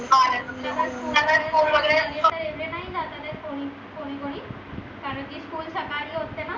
कोणी कोणी कारण की school सकाळी असेत न